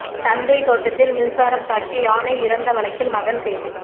தந்தை தோட்டத்தில் மின்சாரம் தாக்கி யானை இறந்த வழக்கில் மகன் கைது